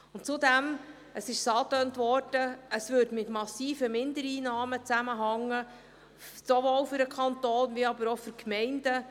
Zudem – das wurde bereits angetönt – würde es mit massiven Mindereinnahmen für den Kanton und die Gemeinden zusammenhängen.